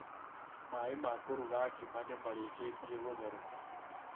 Maaĩ ma kũruga ngima nĩ marĩkĩtie gũtheroka